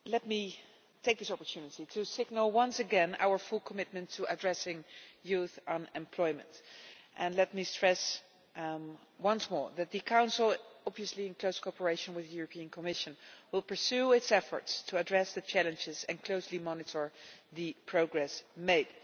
Madam President, let me take this opportunity to signal once again our full commitment to addressing youth unemployment and let me stress once more that the Council, obviously in close cooperation with the Commission, will pursue its efforts to address the challenges and closely monitor the progress made.